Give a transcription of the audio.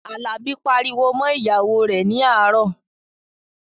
Àlàbí pariwo mọ́ ìyàwó rẹ̀ ní àárọ̀